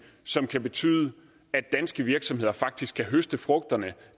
som kan betyde at danske virksomheder faktisk kan høste frugterne